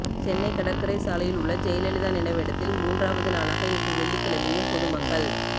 சென்னை கடற்கரை சாலையில் உள்ள ஜெயலலிதா நினைவிடத்தில் மூன்றாவது நாளாக இன்று வெள்ளிக்கிழையும் பொது மக்கள்